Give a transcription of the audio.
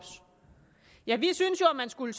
ja vi synes jo man skulle